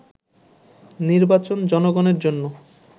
“নির্বাচন জনগণের জন্য